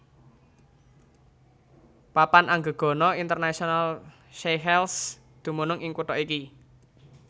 Papan Anggegana Internasional Seychelles dumunung ing kutha iki